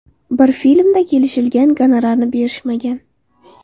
Bir filmda kelishilgan gonorarni berishmagan.